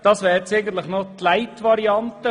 Es handelt sich um eine Light-Variante.